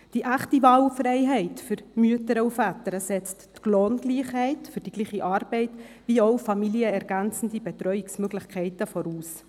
Die echte Wahlfreiheit für Mütter und Väter setzt die Lohngleichheit für die gleiche Arbeit wie auch familienergänzende Betreuungsmöglichkeiten voraus.